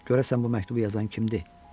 Görəsən bu məktubu yazan kimdir?